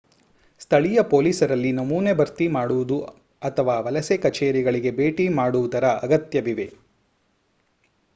ಸ್ಥಳೀಯ ಪೊಲೀಸರಲ್ಲಿ ನಮೂನೆ ಭರ್ತಿ ಮಾಡುವುದು ಅಥವಾ ವಲಸೆ ಕಚೇರಿಗಳಿಗೆ ಭೇಟಿ ಮಾಡುವುದರ ಅಗತ್ಯವಿವೆ